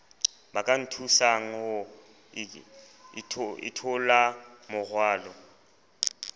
ba ka nthusang ho itholamorwalo